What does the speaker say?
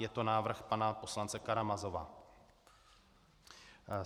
Je to návrh pana poslance Karamazova.